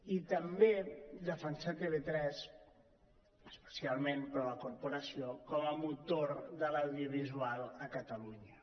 i també defensar tv3 especialment però la corporació com a motor de l’audiovisual a catalunya